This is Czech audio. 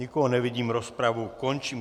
Nikoho nevidím, rozpravu končím.